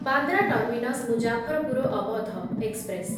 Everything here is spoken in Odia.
Bandra terminus Muzaffarpur Awadh express